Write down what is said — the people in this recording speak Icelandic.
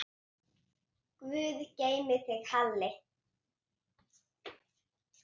Guð geymi þig, Halli.